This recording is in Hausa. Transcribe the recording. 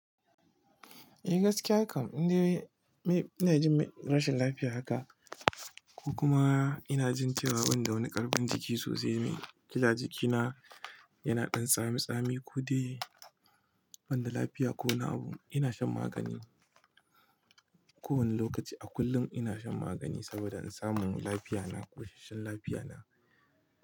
Eh gaskiya kam. Ina jin rashin lafiya haka ko kuma ina jin ciwon da wani karbin jiki sosai mai. Kila jikina yana dan tsami tsami ko dai banda lafiya ko wani abu. Ina shan magani kowane lokaci a kullum ina shan magani saboda in samu lafiya na ko tashin lafiya na.